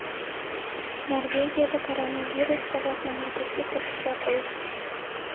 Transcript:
Norvegiyada koronavirus sabab mamlakatga kirish yopildi.